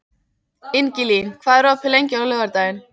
Ingilín, hvað er opið lengi á laugardaginn?